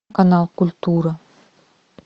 канал культура